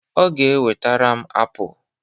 Ọ ga e wetere m apụl